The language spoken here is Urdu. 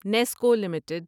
Nescoll limited